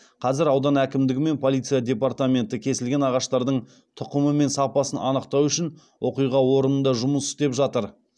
қазір аудан әкімдігі мен полиция департаменті кесілген ағаштардың тұқымы мен сапасын анықтау үшін оқиға орнында жұмыс істеп жатыр